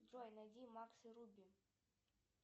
джой найди макс и руби